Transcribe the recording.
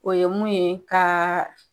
O ye mun ye ka